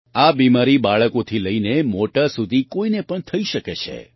આ બીમારી બાળકોથી લઈને મોટા સુધી કોઈને પણ થઈ શકે છે